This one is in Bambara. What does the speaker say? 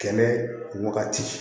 Kɛnɛ wagati